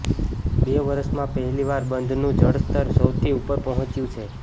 બે વર્ષમાં પહેલીવાર બંધનું જળસ્તર સૌથી ઉપર પહોંચ્યું છે